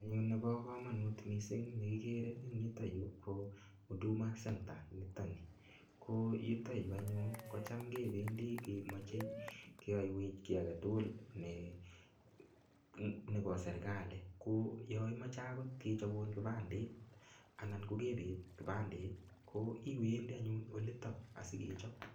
En yuu nebo komonut mising nekikere en yuto yuu ko huduma center niton nii, ko yuto yuu anyun kootam kebendi kemoche keyoiwech kii aketukul nebo serikali, ko yoon imoche akot kipandet anan kokebet kipandet ko iwendi anyun oliton asikechop.